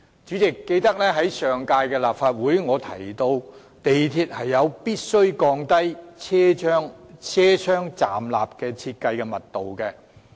主席，記得在上屆立法會，我提到港鐵有必要降低車廂站立的設計密度。